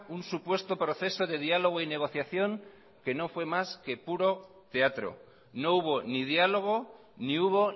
un supuesto proceso de diálogo y negociación que no fue más que puro teatro no hubo ni diálogo ni hubo